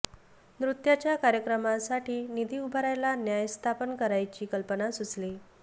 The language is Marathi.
नृत्याच्या कार्यक्रमांसाठी निधी उभारायला न्यास स्थापन करायची कल्पना सुचली